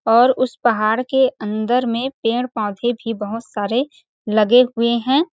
और उस पहाड़ के अंदर में पेड़ -पौधे भी बहोत सारे लगे हुए हैं ।